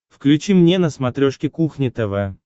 включи мне на смотрешке кухня тв